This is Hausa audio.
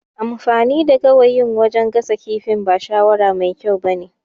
Amfani da gawayin wajan gasa kifin ba shawara mai kyau ba ne